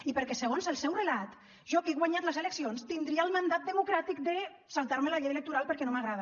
i perquè segons el seu relat jo que he guanyat les eleccions tindria el mandat democràtic de saltar me la llei electoral perquè no m’agrada